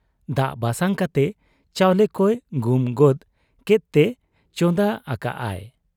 ᱫᱟᱜ ᱵᱟᱥᱟᱝ ᱠᱟᱛᱮ ᱪᱟᱣᱞᱮ ᱠᱚᱭ ᱜᱩᱢ ᱜᱚᱫ ᱠᱮᱫᱛᱮ ᱪᱚᱸᱫᱟ ᱟᱠᱟᱜ ᱟᱭ ᱾